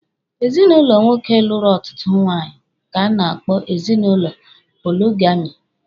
Ezinụlọ nwoke lụrụ ọtụtụ nwunye ka a na-akpọ ezinụlọ poligami.